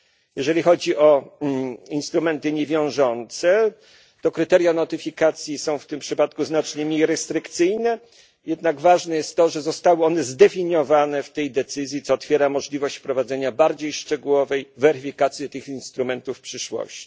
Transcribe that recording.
Jeżeli chodzi o instrumenty niewiążące, to kryteria notyfikacji są w tym przypadku znacznie mniej restrykcyjne, jednak ważne jest to, że zostały one zdefiniowane w tej decyzji, co otwiera możliwość wprowadzenia bardziej szczegółowej weryfikacji tych instrumentów w przyszłości.